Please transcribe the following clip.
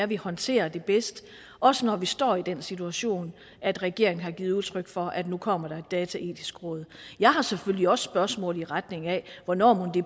vi håndterer det bedst også når vi står i den situation at regeringen har givet udtryk for at nu kommer der et dataetisk råd jeg har selvfølgelig også spørgsmål i retning af hvornår det